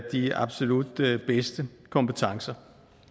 de absolut bedste kompetencer